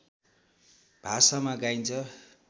भाषामा गाइन्छ